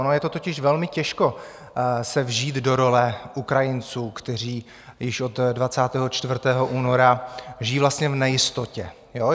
Ono je to totiž velmi těžko se vžít do role Ukrajinců, kteří již od 24. února žijí vlastně v nejistotě.